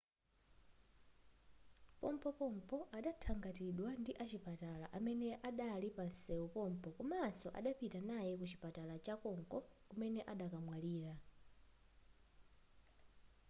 pompopompo adathangatidwa ndi achipatala amene adali panseu pompo komanso adapita naye ku chipatala chakonko kumene adakamwalira